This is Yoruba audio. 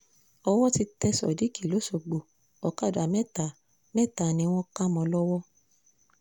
owó ti tẹ́ sodiq lọ́sọ̀gbọ̀ ọ̀kadà mẹ́ta mẹ́ta ni wọ́n kà mọ́ ọn lọ́wọ́